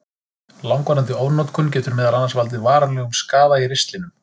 Langvarandi ofnotkun getur meðal annars valdið varanlegum skaða í ristlinum.